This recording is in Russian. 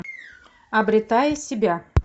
обретая себя